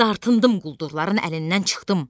Dartındım quldurların əlindən çıxdım.